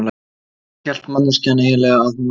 Hvað hélt manneskjan eiginlega að hún væri?